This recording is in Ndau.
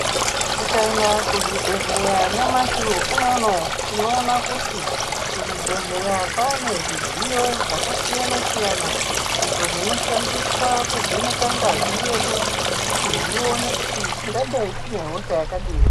Tikaenda kuzvibhedhlera nyamashi unono tinoona kuti kuzvibhedhlera kwane zvidziyo zvakasiyana siyana izvo zvinoshandiswa kuvheneka ngazi yedu kuti zvione kuti tingadai tine hosha yakadini.